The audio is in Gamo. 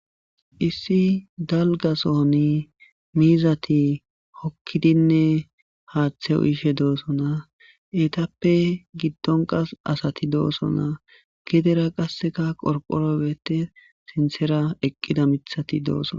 issi dalga sohoni miizati hokkidinne haaththe uyishe doosonaa etappe giddon qas asati doosonaa gedera qasseka qorqoroy beetes sinthera eqqida mithati doosona